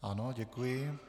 Ano, děkuji.